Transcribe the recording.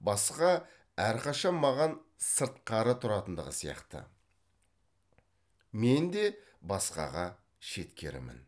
басқа әрқашан маған сыртқары тұратындығы сияқты мен де басқаға шеткерімін